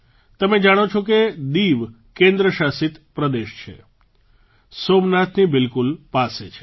તમે જાણો છો કે દીવકેન્દ્રશાસિત પ્રદેશ છે સોમનાથની બિલકુલ પાસે છે